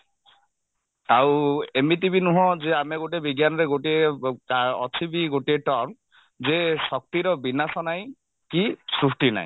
ଆଉ ଏମିତି ବି ନୁହଁ ଯେ ଆମେ ଗୋଟେ ବିଜ୍ଞାନରେ ଗୋଟିଏ ଅ ଅଛି ବି ଗୋଟିଏ term ଯେ ଶକ୍ତିର ବିନାଶ ନାହିଁ କି ସୃଷ୍ଟି ନାହିଁ